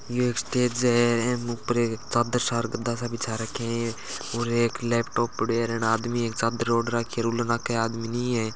यह एक स्टेज है आंके ऊपर एक चादर सा गद्दा सा बिछा राख्या है और एक लेपटॉप पड्यो है और अन्ने आदमी एक चादर ओढ़ राखी आदमी नी है।